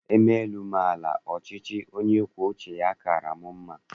E mee elu, mee ala, ọchịchị onye kwuo uche ya kaara m mma.